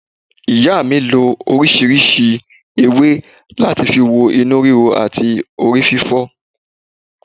Ìyá mi lo orísìírísìí ewé láti fi wo inú ríro àti orí fífọ́